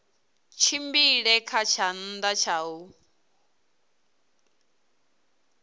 tshimbile kha tshanḓa tsha u